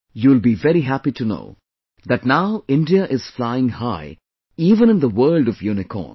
You will be very happy to know that now India is flying high even in the world of Unicorns